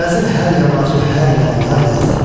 Gəzir hər yamacı, hər yalı yaylaq.